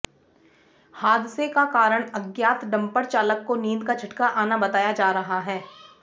हादसे का कारण अज्ञात डंपर चालक को नींद का झटका आना बताया जा रहा है